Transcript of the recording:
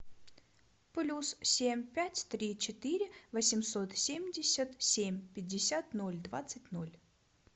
плюс семь пять три четыре восемьсот семьдесят семь пятьдесят ноль двадцать ноль